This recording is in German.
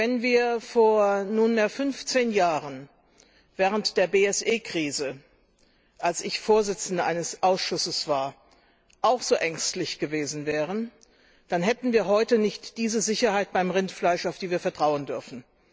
Wenn wir vor fünfzehn Jahren während der BSE Krise, als ich Vorsitzende eines Ausschusses war, auch so ängstlich gewesen wären, hätten wir heute nicht diese Sicherheit beim Rindfleisch, auf die wir vertrauen dürfen.